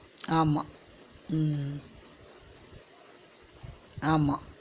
ஆமா உம் ஆமா